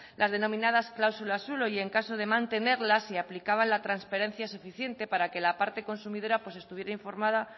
las denominadas cláusulas suelo y en caso de mantenerlas si aplicaban la transferencia suficiente para que la parte consumidora estuviera informada